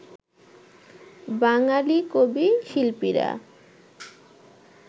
বাঙালি কবি-শিল্পীরা